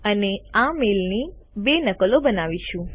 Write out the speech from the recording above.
અને આ મેઇલની બે નકલો બનાવીશું